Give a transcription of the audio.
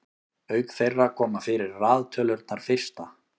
auk þeirra koma fyrir raðtölurnar fyrsta